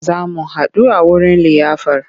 Za mu haɗu a wurin liyafar.